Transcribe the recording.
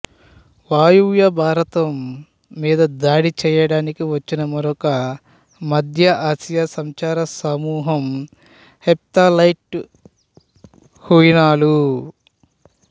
వాయవ్య భారతం మీద దాడి చేయడానికి వచ్చిన మరొక మధ్య ఆసియా సంచార సమూహం హెప్తాలైటు హ్యూనాలు